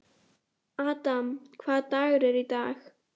Adam, hvaða dagur er í dag?